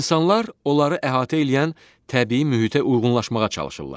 İnsanlar onları əhatə eləyən təbii mühitə uyğunlaşmağa çalışırlar.